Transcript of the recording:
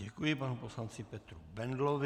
Děkuji panu poslanci Petru Bendlovi.